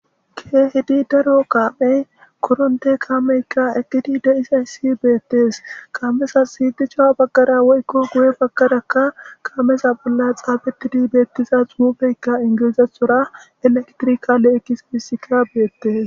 Keehidi daro kaafey korontte kaameykka eqidi de'izayssi beettees. Kaamezassi duca baggara woykko guye baggarakka kameza bolla xaabetidi beettiza xuufeykka ingilizethora elektrikale gizayssika beettes